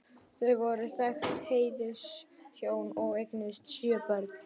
Þau voru þekkt heiðurshjón og eignuðust sjö börn.